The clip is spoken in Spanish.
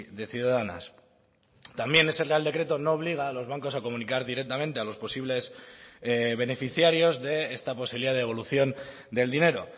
de ciudadanas también ese real decreto no obliga a los bancos a comunicar directamente a los posibles beneficiarios de esta posibilidad de devolución del dinero